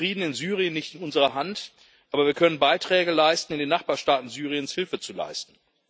Nun liegt Frieden in Syrien nicht in unserer Hand, aber wir können Beiträge leisten, in den Nachbarstaaten Syriens Hilfe zu leisten.